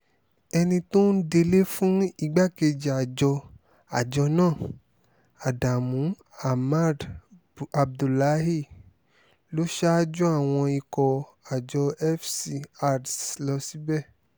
ẹni tó ń délé fún igbákejì àjọ àjọ náà adamu ahmad abdullahi ló ṣáájú àwọn ikọ̀ àjọ fc ads lọ síbẹ̀